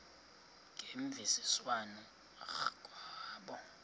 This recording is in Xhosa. ngemvisiswano r kwabo